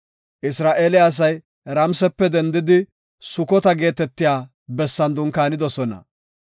Isra7eele asay Ramisepe dendidi Sukota geetetiya bessan dunkaanidosona.